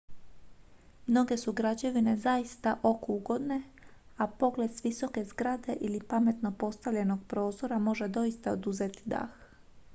mnoge su građevine zaista oku ugodne a pogled s visoke zgrade ili pametno postavljenog prozora može doista oduzeti dah